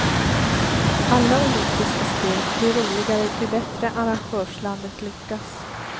Alla olympiska spel blir roligare ju bättre arrangörslandet lyckas.